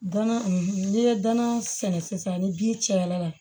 Gana n'i ye dana sɛnɛ sisan ni bin cayara